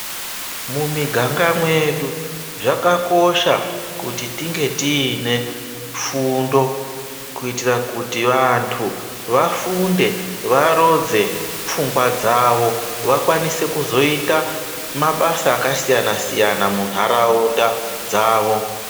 Mumiganga mwedu zvakakosha kuti tinge tiine fundo kuitira kuti vantu vafunde varodze pfungwa dzavo, vakwanise kuzoita mabasa akasiyana siyana munharaunda dzavo.